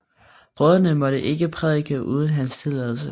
Brødrene måtte ikke prædike uden hans tilladelse